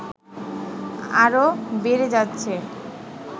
আরো বেড়ে যাচ্ছে